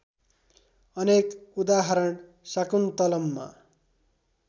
अनेक उदाहरण शाकुन्तलममा